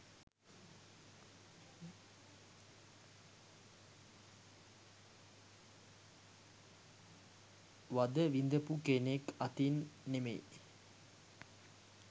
වද විඳපු කෙනෙක් අතින් නෙමෙයි